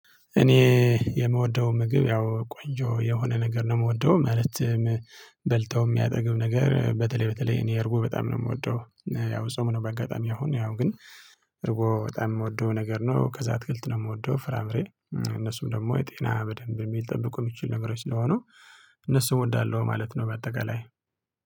እኔ የምወደው ምግብ ያው ቆንጆ የሆነ ነገር ነው የምወደው ማለትም በልተው የሚያጠግብ ነገር በተለይ በተለይ እኔ እርጎ በጣም ነው የምወደው። ያው ጾም ነው በአጋጣሚ አሁን ያው ግን እርጎ በጣም የምወደው ነገር ነው ከዛ አትክልት ነው የምወደው ፍራምሬ እነሱም ደግሞ ጤና በደንብ የሚጠብቁ የሚችል ነገሮች ስለሆኑ። እነሱ እወዳለው ማለት ነው። በአጠቃላይ